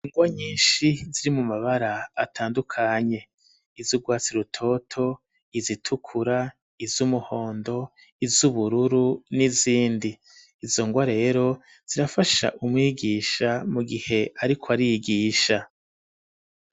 Ingwa nyishi ziri mu mabara atandukanye izu rwatsi rutoto izitukura izu muhondo izu bururu n'izindi izo ngwa rero zirafasha umwigisha mu gihe ariko arigisha .